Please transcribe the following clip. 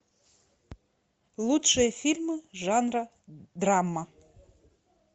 лучшие фильмы жанра драма